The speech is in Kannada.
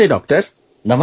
ನಮಸ್ತೆ ಡಾಕ್ಟರ್